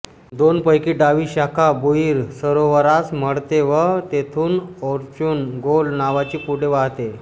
दोनपैकी डावी शाखा बुइर सरोवरास मळते व तेथून ओर्चुन गोल नावानी पुढे वाहते